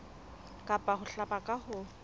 kapa ho hlaba ka ho